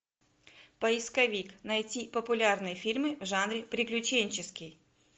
поисковик найти популярные фильмы в жанре приключенческий